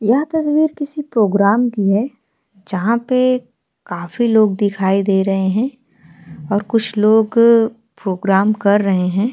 यहापर ये किसी प्रोग्राम की है जहापे काफी लोग दिखाई दे रहे है और कुछ लोग अ प्रोग्राम कर रहे है।